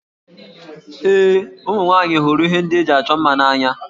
Ee, ụmụ nwaanyị hụrụ ihe ndị eji achọ mma n'anya